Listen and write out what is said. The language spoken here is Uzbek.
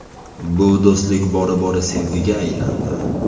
Bu do‘stlik bora-bora sevgiga aylandi.